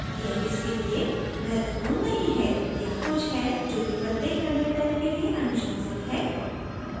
यह इसके लिए मत्वपूर्ण नहीं है यहाँ कुछ है जो कि प्रत्येक content type के लिए अनुशंसित है